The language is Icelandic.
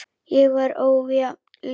Hér var ójafn leikur.